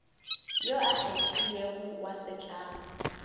yo a kgethilwego wa setlamo